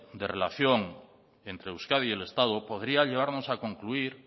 de relación entre euskadi y el estado podría llevarnos a concluir